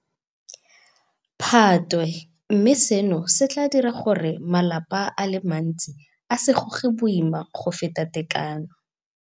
Phatwe, mme seno se tla dira gore malapa a le mantsi a se goge boima go feta tekano.